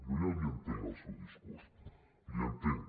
jo ja l’entenc el seu discurs l’entenc